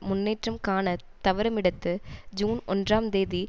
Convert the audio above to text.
முன்னேற்றம் காண தவறுமிடத்து ஜூன் ஒன்றாம் தேதி